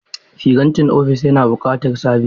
Firintar ofis yana buƙatar sabis.